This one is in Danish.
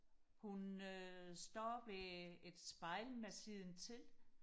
hun øh står ved et spejl med siden til